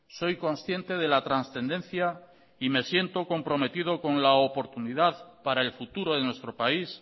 soy consciente de la trascendencia y me siento comprometido con la oportunidad para el futuro de nuestro país